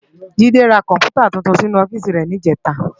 Jide rá kòmpútá túntún sinú òfìsí rè nijètá